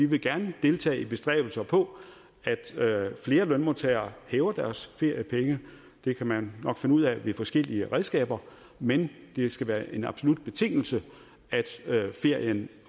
vi gerne vil deltage i bestræbelser på at flere lønmodtagere hæver deres feriepenge det kan man nok finde ud af ved forskellige redskaber men det skal være en absolut betingelse at ferien